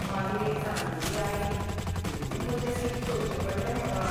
मागीर एक जाण्टेली आयली देखून म्हजे सीट सोडचें पडलें म्हाका.